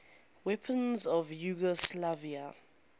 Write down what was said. weapons of yugoslavia